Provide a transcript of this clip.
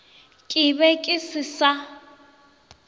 ke be ke se sa